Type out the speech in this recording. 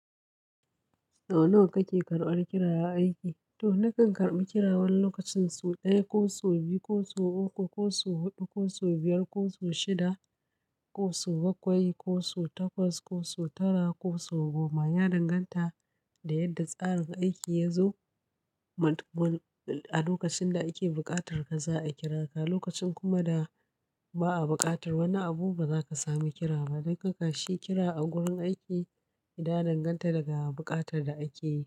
Nawa kake karɓar kiraya aiki? To nakan karɓi kirawan lokacin su ɗaya ko su biyu ko su uku ko su huɗu ko su biyar ko su shida ko su bakwai ko su takwas ko su tara ko su goma. Ya danganta da yadda tsarin aikin yazo. A lokacin da ake buƙatar ka za a kira ka, lokacin kuma da ba a buƙatar wani abu ba za ka sami kira ba. Dukkan kashi kira a wurin aiki yana danganta daga buƙatar da ake yi.